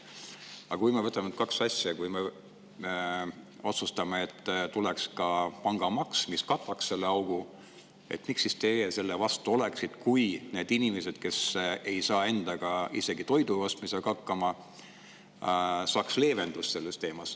Aga kui me võtame need kaks asja, kui me otsustame veel, et tuleks ka pangamaks, mis kataks selle augu, siis miks te selle vastu oleksite, kui need inimesed, kes ei saa isegi toidu ostmisega hakkama, saaks leevendust?